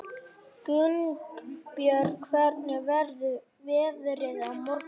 Gunnbjörg, hvernig verður veðrið á morgun?